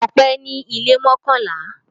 Ọpẹ́ ní ilé mọ́kànlá.